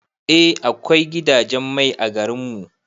Eh akwai gidajen mai a garin mu.